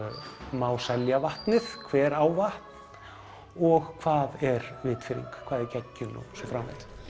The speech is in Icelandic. má selja vatnið hver á vatn og hvað er vitfirring hvað er geggjun og svo framvegis